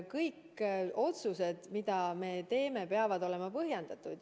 Kõik otsused, mida me teeme, peavad olema põhjendatud.